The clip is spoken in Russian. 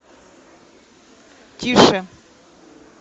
тише